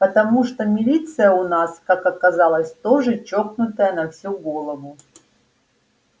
потому что милиция у нас как оказалось тоже чокнутая на всю голову